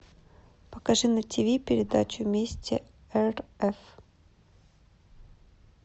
покажи на тв передачу вместе рф